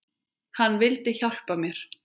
Hann vildi hjálpa mér.